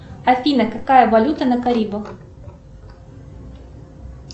афина какая валюта на карибах